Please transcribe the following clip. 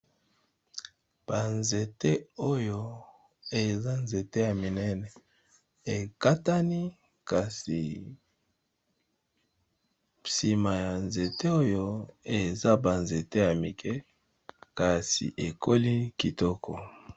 banzete oyo eza nzete ya minene ekatani kasi nsima ya nzete oyo eza banzete ya mike kasi ekoli kitoko